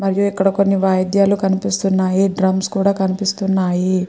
మరియు ఇక్కడ కొన్ని వాడ్యాలు కనిపిస్తున్నాయి డ్రమ్స్ కూడా కనిపిస్తున్నాయి.